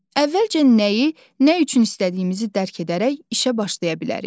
Əvvəlcə nəyi, nə üçün istədiyimizi dərk edərək işə başlaya bilərik.